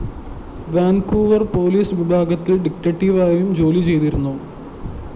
Vancouver‍ police വിഭാഗത്തില്‍ ഡിറ്റക്ടീവായും ജോലി ചെയ്തിരുന്നു